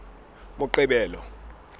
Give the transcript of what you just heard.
moqebelo